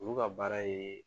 Olu ka baara ye